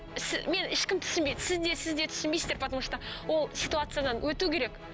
мені ешкім түсінбейді сіз де сіз де түсінбейсіздер потому что ол ситуациядан өту керек